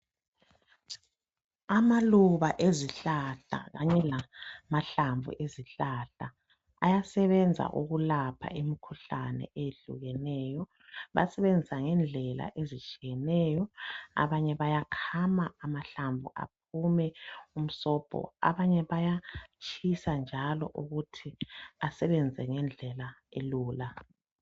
Amaluba ezihlahla kanye lamahlamvu ezihlahla .Ayasebenza ukulapha imkhuhlane eyehlukeneyo .Bayasebenzisa ngendlela ezitshiyeneyo .Abanye bayakhama amahlamvu aphume umsobho abanye bayatshisa njalo ukuthi asebenze ngendlela elula .